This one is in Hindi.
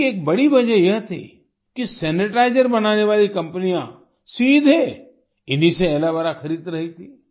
इसकी एक बड़ी वजह यह थी कि सैनिटाइजर बनाने वाली कंपनियां सीधे इन्हीं से एलो वेरा खरीद रही थीं